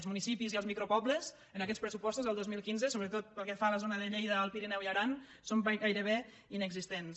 els municipis i els micropobles en aquests pressupostos del dos mil quinze sobretot pel que fa a la zona de lleida alt pirineu i aran són gairebé inexistents